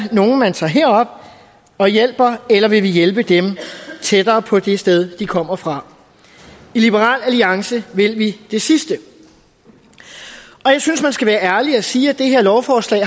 nogle man tager herop og hjælper eller om vi vil hjælpe dem tættere på det sted de kommer fra i liberal alliance vil vi det sidste og jeg synes man skal være ærlig og sige at det her lovforslag